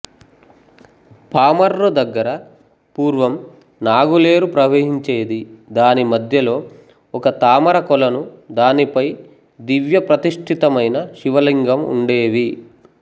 పామర్రు దగ్గర పూర్వం నాగులేరు ప్రవహించేది దానిమధ్యలో ఒక తామర కొలను దానిపై దివ్య ప్రతిష్టితమైన శివ లింగం ఉండేవి